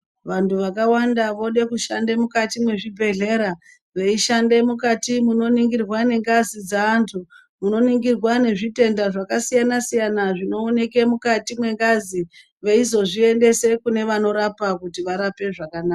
Vantu vakawanda vode kushanda mukati mwezvibhedhleya, veishande mukati munoningirwa nengazi dzeantu munoningirwe nezvitenda zvakasiyana siyana zvinoonekwe mukati mwengazi veizvoziendese kune vanorapa kuti varape zvakanaka.